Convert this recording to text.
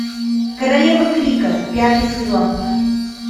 королева крика пятый сезон